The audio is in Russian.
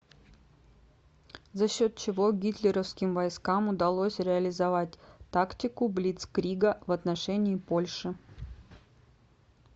за счет чего гитлеровским войскам удалось реализовать тактику блицкрига в отношении польши